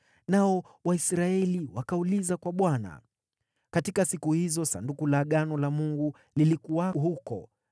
Nao Waisraeli wakauliza kwa Bwana . (Katika siku hizo Sanduku la Agano la Mungu lilikuwa huko